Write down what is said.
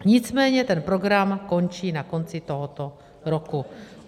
Nicméně ten program končí na konci tohoto roku.